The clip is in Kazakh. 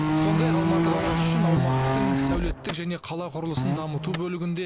сондай ақ алматы қаласы үшін аумақтың сәулеттік және қала құрылысын дамыту бөлігінде